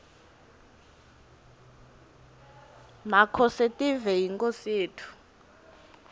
makhosetive yinkhosi yetfu